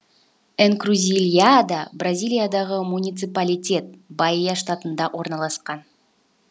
энкрузильяда бразилиядағы муниципалитет баия штатында орналасқан